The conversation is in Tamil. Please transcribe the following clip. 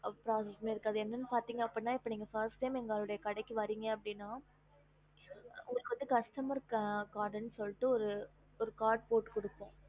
அது என்னனு பாத்தீங்கன்னா நீங்க first time எங்க கடிக்கு வறிஞான உங்களுக்கு வந்து customer card ஒரு போட்டு கொடுப்போம்